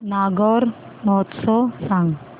नागौर महोत्सव सांग